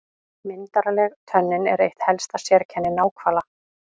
Myndarleg tönnin er eitt helsta sérkenni náhvala.